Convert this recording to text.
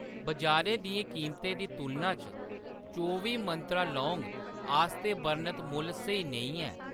बजारै दियें कीमतें दी तुलना च चौबी मंत्रा लौंग आस्तै बर्णत मुल्ल स्हेई नेईं ऐ।